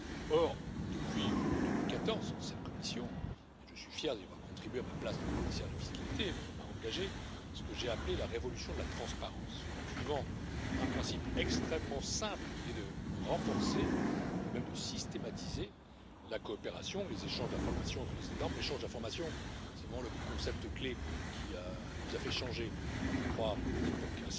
Or, depuis 2014, cette Commission et je suis fier d'y avoir contribué à ma place de commissaire à la fiscalité a engagé ce que j'ai appelé la révolution de la transparence, en suivant un principe extrêmement simple qui est de renforcer et même de systématiser la coopération et les échanges d'informations entre les États membres. L'échange d'informations, c'est vraiment le concept clé qui nous a fait changer, je crois, d'époque.